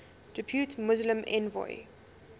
depute muslim envoy